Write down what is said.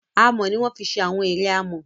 amò ní a fì ṣe Àwọn eré amò.